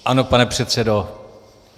Ano, pane předsedo.